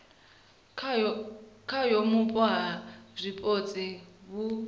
khayo vhupo ha zwipotso vhu